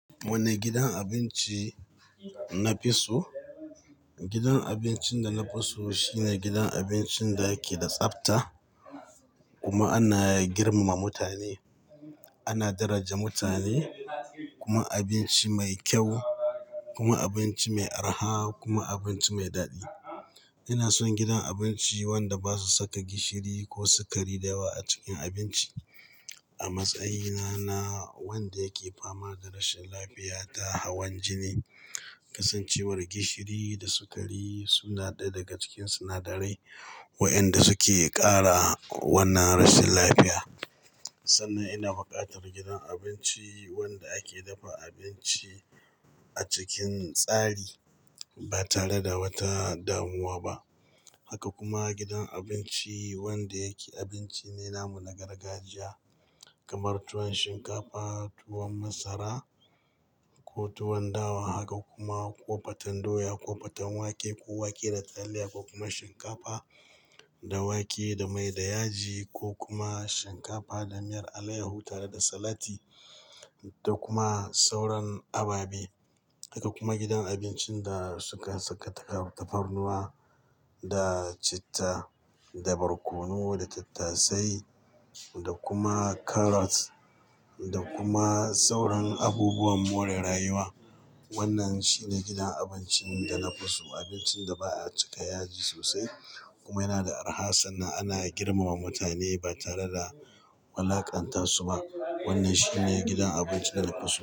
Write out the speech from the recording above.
Wanne gidan abinci na fi so? Gidan abincin da na fi so shine gidan abincin da yake da tsafta kuma ana girmama mutane. Ana daraja mutane, kuma abinci mai kyau kuma abinci mai arha kuma abinci mai daɗi. Ina son gidan abinci wanda ba su saka gishiri ko sukari da yawa a cikin abinci. A matsayina na wanda yake fama da rashin lafiya ta hawan jini, kasancewar gishiri da sukari suna ɗaya daga cikin sinadarai waɗanda suke ƙara wannan rashin lafiya. Sannan ina buƙatar gidan abinci wanda ake dafa abinci a cikin tsari ba tare da wata damuwa ba. Haka kuma gidan abinci wanda yake abinci ne namu na gargajiya kamar tuwon Shinkafa, tuwon Masara ko tuwon Dawa. Haka kuma ko Faten Doya, ko Faten Wake ko Wake da Taliya ko kuma Shinkafa da Wake da mai da yaji ko kuma Shinkafa da miyar Alayyahu tare da salati da kuma sauran ababe. Haka kuma gidan abincin da suka saka tafarnuwa da Citta da Barkono da Tattasai da kuma Karas da kuma sauran abubuwan more rayuwa. Wannan shine gidan abincin da na fi so. Abincin da ba'a cika yaji sosai kuma yana da arha sannan ana girmama mutane ba tare da wulaƙanta su ba. Wannan shine gidan abincin da na fi so.